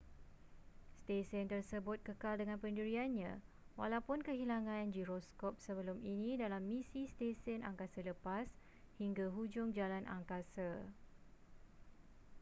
stesen tersebut kekal dengan pendiriannya walaupun kehilangan giroskop sebelum ini dalam misi stesen angkasa lepas hingga hujung jalan angkasa